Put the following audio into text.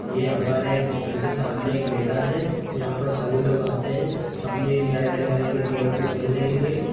ये हमारे घर के सामने एक मैदान है यहाँ पर सभी लोग आते हैं अपने नए-नए तरीके गेम को खेलने के लिए।